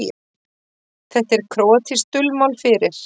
Þetta er króatískt dulmál fyrir